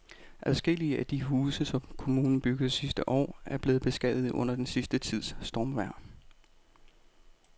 Adskillige af de huse, som kommunen byggede sidste år, er blevet beskadiget under den sidste tids stormvejr.